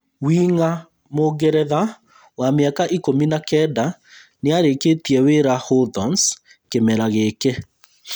Wing’a mũngeretha wa mĩaka ikũmi na kenda nĩarĩkĩtie wĩra Hawthorns kĩmera gĩkĩ